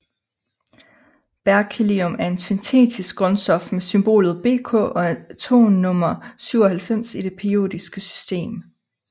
Berkelium er et syntetisk grundstof med symbolet Bk og atomnummer 97 i det periodiske system